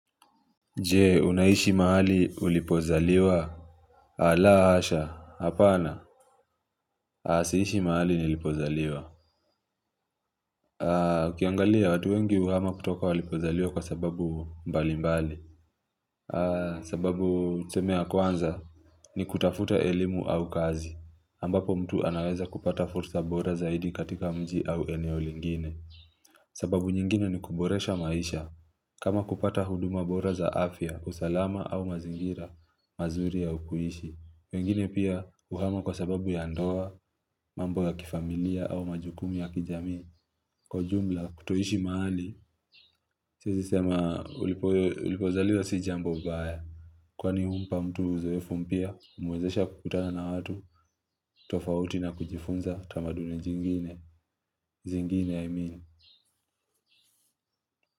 Jee unaishi mahali ulipozaliwa Alaa hasha hapana siishi mahali nilipozaliwa ukiangalia watu wengi huhama kutoka walipozaliwa kwa sababu mbali mbali sababu tuseme yaw kwanza ni kutafuta elimu au kazi ambapo mtu anaweza kupata fursa bora zaidi katika mji au eneo lingine sababu nyingine ni kuboresha maisha kama kupata huduma bora za afya, usalama au mazingira, mazuri ya u kuishi. Wengine pia huhama kwa sababu ya ndoa, mambo ya kifamilia au majukumu ya kijamii Kwa ujumla kutoishi mahali, siezi sema ulipo ulipozaliwa si jambo baya. Kwani humpa mtu uzoefu mpya, umwezesha kukutana na watu, tofauti na kujifunza tamaduni jingine. Zingine, i mean.